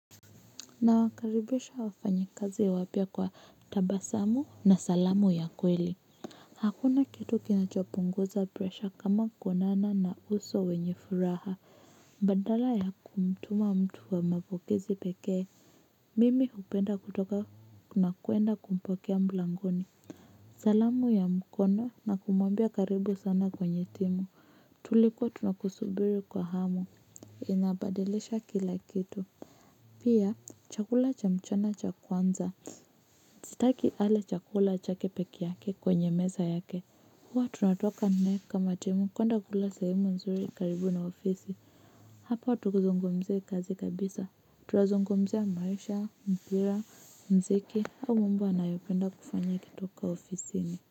Nawakaribisha wafanya kazi ya wapya kwa tabasamu na salamu ya kweli. Hakuna kitu kinachopunguza presha kama konana na uso wenye furaha. Badala ya kumtuma mtu wa mapokezi pekee mimi hupenda kutoka na kuenda kumpokea mlangoni. Salamu ya mkoo na kumwambia karibu sana kwenye timu. Tulikua tunakusubiri kwa hamu. Inabadilisha kila kitu. Pia chakula cha mchana cha kwanza sitaki ale chakula chake peke yake kwenye meza yake. Huwa tunatoka nae kama timu kwenda kula sahemu nzuri karibu na ofisi. Hapa tukizungumzia kazi kabisa tunazungumzia maisha, mpira, mziki au mambo anayopenda kufanya akitoka ofisini.